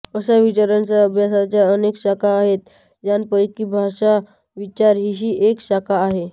अशा विचारांच्या अभ्यासाच्या अनेक शाखा आहेत त्यापैकी भाषाविचार हीही एक शाखा आहे